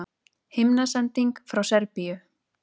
Himnasending frá Serbíu